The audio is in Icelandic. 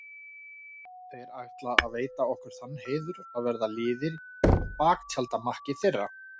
Þeir ætla að veita okkur þann heiður að verða liðir í baktjaldamakki þeirra.